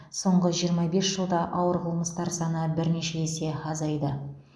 соңғы жиырма бес жылда ауыр қылмыстар саны бірнеше есе азайды